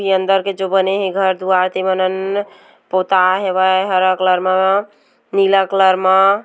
अंदर के जो बने हे घर दुआर ते मन्नन पोताय हवय हरा कलर मा नीला कलर मा--